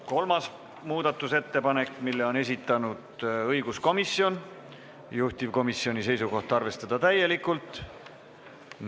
Kolmas muudatusettepanek, mille on esitanud õiguskomisjon, juhtivkomisjoni seisukoht: arvestada täielikult.